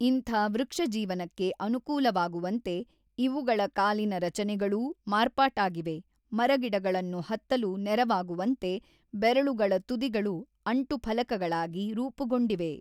ಇಂಥ ವೃಕ್ಷಜೀವನಕ್ಕೆ ಅನುಕೂಲವಾಗುವಂತೆ ಇವುಗಳ ಕಾಲಿನ ರಚನೆಗಳೂ ಮಾರ್ಪಾಟಾಗಿವೆ ಮರಗಿಡಗಳನ್ನು ಹತ್ತಲು ನೆರವಾಗುವಂತೆ ಬೆರಳುಗಳ ತುದಿಗಳು ಅಂಟುಫಲಕಗಳಾಗಿ ರೂಪುಗೊಂಡಿವೆ.